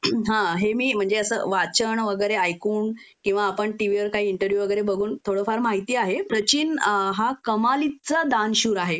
हं.. हा हे मी म्हणजे असं वाचन वगैरे ऐकून किंवा आपण टीव्ही वर काही इंटरव्यू वगैरे बघून थोडं फार माहिती आहे.प्रचीन हा कमालीचा दानशूर आहे